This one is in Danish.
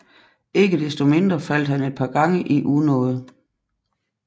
Ikke desto mindre faldt han et par gange i unåde